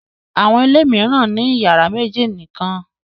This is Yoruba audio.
Àwọn ilé mìíràn ní ìyàrá méjì nìkan.